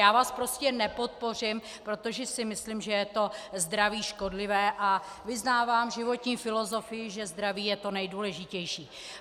Já vás prostě nepodpořím, protože si myslím, že je to zdraví škodlivé, a vyznávám životní filozofii, že zdraví je to nejdůležitější.